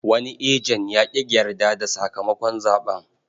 Wani ejen ya ƙi yarda da sakamakon zaɓen.